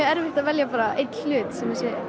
erfitt að velja bara einn hlut